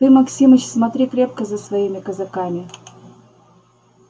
ты максимыч смотри крепко за своими казаками